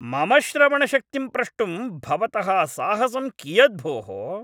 मम श्रवणशक्तिं प्रष्टुं भवतः साहसम् कियत् भोः?